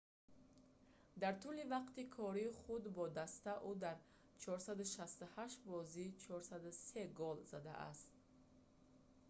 дар тӯли вақти кори худ бо даста ӯ дар 468 бозӣ 403 гол задааст